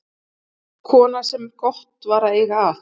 Kona sem gott var að eiga að.